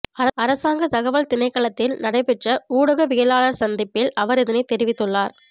அரசாங்கத் தகவல் திணைக்களத்தில் நடைபெற்ற ஊடகவியலாளர் சந்திப்பில் அவர் இதனைத் தெரிவித்துள்ளார்